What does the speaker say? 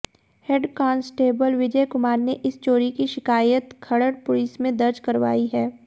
head constable Vijay Kumar नें इस चोरी की शिकायत खरड़ पुलिस में दर्ज करवाई है